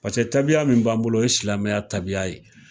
Paseke taabiya min b'an bolo o ye silamɛya taabiya ye.